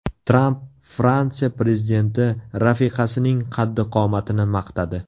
Tramp Fransiya prezidenti rafiqasining qaddi-qomatini maqtadi .